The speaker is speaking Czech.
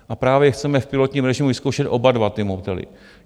A právě chceme v pilotním režimu vyzkoušet oba dva ty modely.